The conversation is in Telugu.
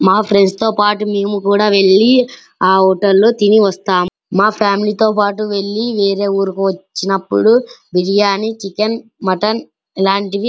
మా ఫ్రెండ్స్ తో పాటు మేము కొద వెళ్లి అ హోటల్ లో తిని వస్తాము మా ఫామిలీ తో పాటు వెళ్లి వేరే ఊరికి వచ్చినప్పుడు బిరియాని చికెన్ మటన్ ఇలాంటివి --